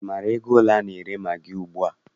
Ị maara ego ole a na-ere magị ugbua?